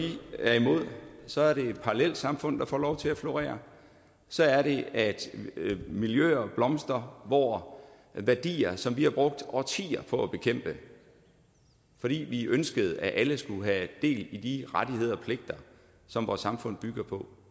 er imod så er det parallelsamfund der får lov til at florere så er det at miljøer blomstrer hvor værdier som vi har brugt årtier på at bekæmpe fordi vi ønskede at alle skulle have del i de rettigheder og pligter som vores samfund bygger på